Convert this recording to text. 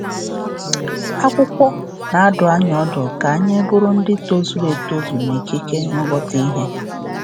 Akwụkwọ na-adụ anyị ọdụ ka anyị ‘bụrụ ndị tozuru etozu n’ikike nghọta ihe'.